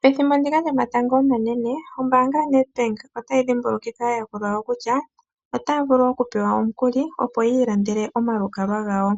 Pethimbo lyomatango omanene ombanga yaNEDBANK ohayipe aayakulwa yawo omikuli opo yiilandele omalukalwa ngawo